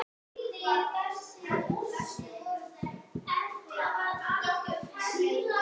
Elsku Ester mín.